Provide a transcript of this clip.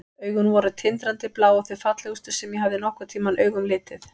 Augun voru tindrandi blá og þau fallegustu sem ég hafði nokkurn tímann augum litið.